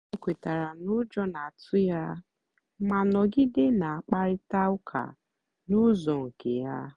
o kwètàra na ụ́jọ́ na-àtụ́ ya mà nọ̀gìdè na-àkpárị̀ta ụ́ka n'ụ́zọ́ nkè ya.